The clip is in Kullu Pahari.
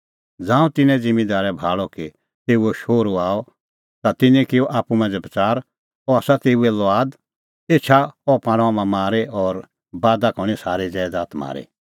ज़ांऊं तिन्नैं ज़िम्मींदारै भाल़अ कि तेऊओ शोहरू आअ ता तिन्नैं किअ आप्पू मांझ़ै बच़ार अह आसा तेऊए लुआद एछा अह पाणअ हाम्हां मारी और बादा का हणीं सारी ज़ैदात म्हारी